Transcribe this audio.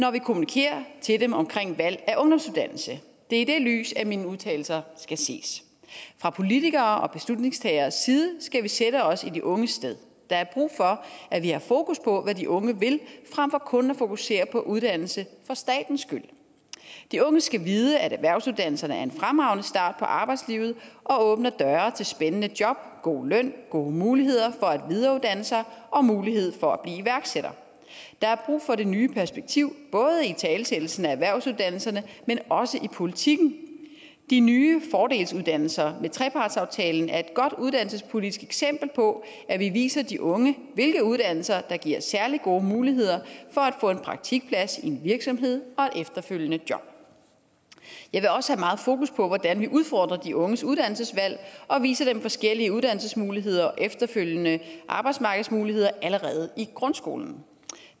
når vi kommunikerer til dem om valg af ungdomsuddannelse det er i det lys mine udtalelser skal ses fra politikeres og beslutningstageres side skal vi sætte os i de unges sted der er brug for at vi har fokus på hvad de unge vil frem for kun at fokusere på uddannelse for statens skyld de unge skal vide at erhvervsuddannelserne er en fremragende start på arbejdslivet og åbner døre til spændende job god løn gode muligheder for at videreuddanne sig og muligheder for at blive iværksætter der er brug for det nye perspektiv både i italesættelsen af erhvervsuddannelserne men også i politikken de nye fordelsuddannelser med trepartsaftalen er et godt uddannelsespolitisk eksempel på at vi viser de unge hvilke uddannelser der giver særlig gode muligheder for at få en praktikplads i en virksomhed og et efterfølgende job jeg vil også have meget fokus på hvordan vi udfordrer de unges uddannelsesvalg og viser dem forskellige uddannelsesmuligheder og efterfølgende arbejdsmarkedsmuligheder allerede i grundskolen